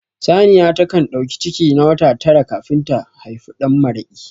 Saniya ta kan ɗauki ciki na wata tara kafin ta haifi ɗanmaraƙi